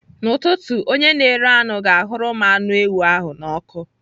N'ụtụtụ, onye na-ere anụ ga-ahụrụ m anụ ewu ahụ n'ọkụ.